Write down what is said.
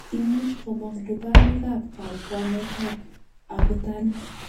Imuch komong' lubanik ak kabwanetab abutanik.